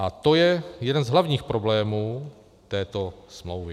A to je jeden z hlavních problémů této smlouvy.